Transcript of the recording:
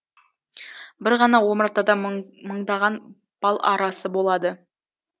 бір ғана омартада мыңдаған бал арасы болады